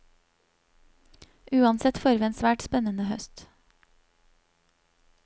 Uansett får vi en svært spennende høst.